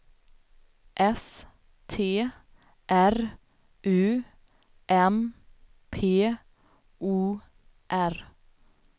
S T R U M P O R